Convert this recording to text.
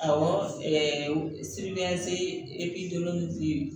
Awɔ